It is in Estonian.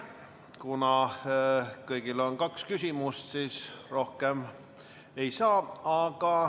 Kuna kõigil on kaks küsimust, siis rohkem ei saa.